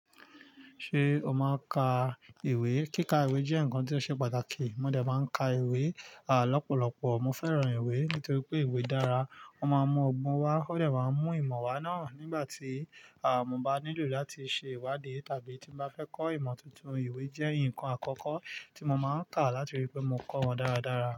Ṣé o máa ka ìwé? Kíka ìwé jẹ́ ǹkan tí ó ṣe pàtàkì. Mo dẹ̀ máa ka ìwé à lọ́pọ̀lọpọ̀. Mo fẹ́ràn ìwé nítorí pé ìwé dára, ó máa ń mú ọgbọ́n wá, ó dẹ̀ máa ń mú ìmọ̀ wá náà nígbà tí àmọ̀ bá nílò láti ṣe ìwádìí tàbí tí mo bá fẹ́ kọ́ ìmọ̀ tuntun. Ìwé jẹ́ ǹkan àkọ́kọ́ tí mo máa ń kà láti rí i pé mo kọ̀ wọ́n dáradára.